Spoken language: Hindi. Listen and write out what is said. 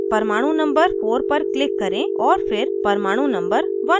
परमाणु number 4 पर click करें और फिर परमाणु number 1 पर